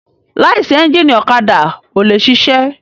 Láìsí ẹ́ńgìnì ọ̀kadà ò le ṣiṣẹ́.